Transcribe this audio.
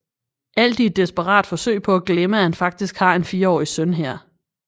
Alt i et desperat forsøg på at glemme at han faktisk har en fireårig søn her